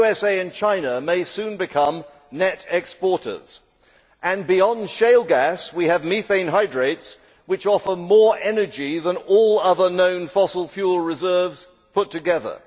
The USA and China may soon become net exporters, and beyond shale gas we have methane hydrates which offer more energy than all other known fossil fuel reserves put together.